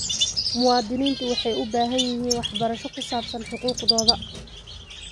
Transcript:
Muwaadiniintu waxay u baahan yihiin waxbarasho ku saabsan xuquuqdooda.